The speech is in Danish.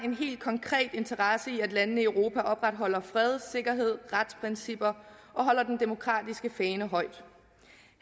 en helt konkret interesse i at landene i europa opretholder fred sikkerhed retsprincipper og holder den demokratiske fane højt